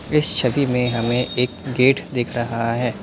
इस छवि में हमें एक गेट दिख रहा है।